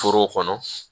Foro kɔnɔ